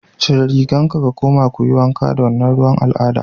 Cire rigan ka kuma kuyi wanka da wannan ruwan al'ada